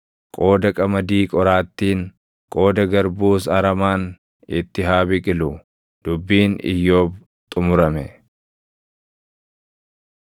qooda qamadii qoraattiin, qooda garbuus aramaan itti haa biqilu.” Dubbiin Iyyoob xumurame.